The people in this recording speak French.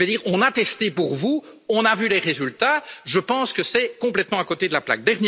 Nous avons testé pour vous, nous avons vu les résultats, je pense que c'est complètement à côté de la plaque.